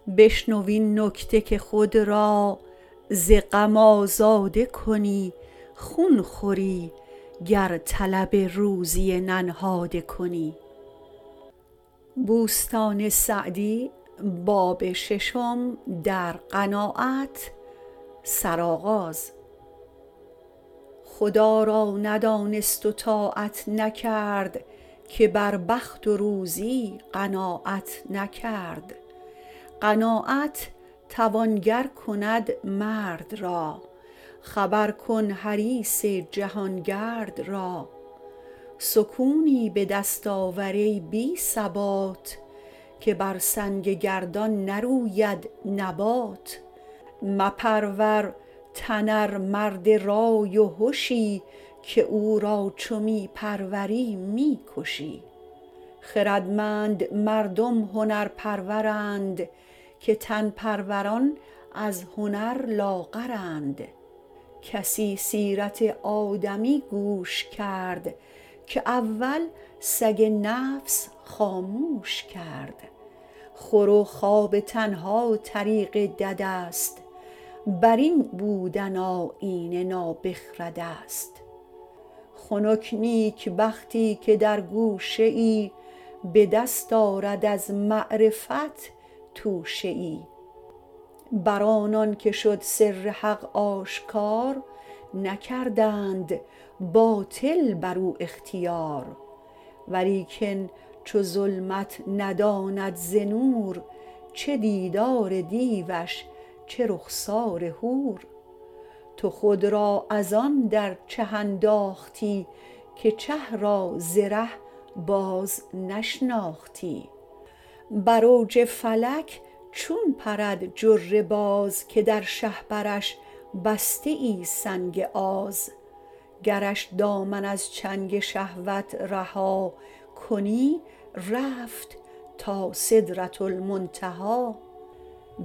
خدا را ندانست و طاعت نکرد که بر بخت و روزی قناعت نکرد قناعت توانگر کند مرد را خبر کن حریص جهانگرد را سکونی به دست آور ای بی ثبات که بر سنگ گردان نروید نبات مپرور تن ار مرد رای و هشی که او را چو می پروری می کشی خردمند مردم هنر پرورند که تن پروران از هنر لاغرند کسی سیرت آدمی گوش کرد که اول سگ نفس خاموش کرد خور و خواب تنها طریق دد است بر این بودن آیین نابخرد است خنک نیکبختی که در گوشه ای به دست آرد از معرفت توشه ای بر آنان که شد سر حق آشکار نکردند باطل بر او اختیار ولیکن چو ظلمت نداند ز نور چه دیدار دیوش چه رخسار حور تو خود را از آن در چه انداختی که چه را ز ره باز نشناختی بر اوج فلک چون پرد جره باز که در شهپرش بسته ای سنگ آز گرش دامن از چنگ شهوت رها کنی رفت تا سدرةالمنتهی